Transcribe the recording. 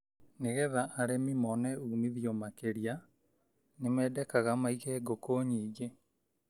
Nĩ getha arĩmi mone umithio makĩria nĩmendekaga maige ngũkũ nyingĩ.